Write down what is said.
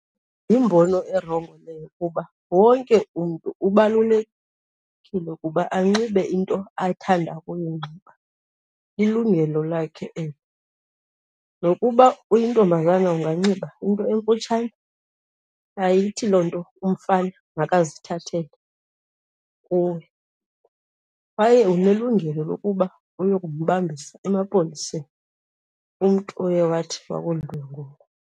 Yimbono erongo leyo kuba wonke umntu ubalulekile ukuba anxibe into athanda ukuyinxiba, lilungelo lakhe elo. Nokuba uyintombazana anganxiba into emfutshane, ayithi loo nto umfana makazithathele kuwe, kwaye unelungelo lokuba ayokumbambisa emapoliseni umntu oye wathi wakudlwengula.